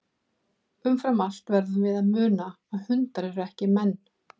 Umfram allt verðum við að muna að hundar eru ekki menn.